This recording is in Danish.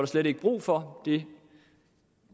slet ikke brug for det